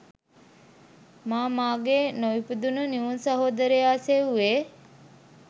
මා මගේ නොඉපදුනු නිවුන් සහෝදරයා සෙව්වේ